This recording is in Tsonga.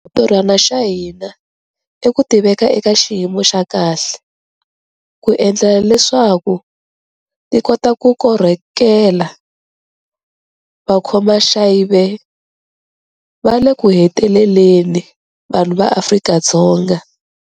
Xintirhwana xa hina i ku ti veka eka xiyimo xa kahle, ku endlela leswaku ti kota ku korhokela vakhomaxiave va le kuheteleleni - vanhu va Afrika-Dzonga.